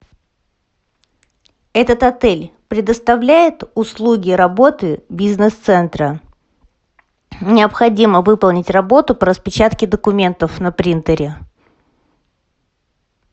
этот отель предоставляет услуги работы бизнес центра необходимо выполнить работу по распечатке документов на принтере